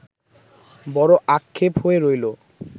বড় আক্ষেপ হয়ে রইলো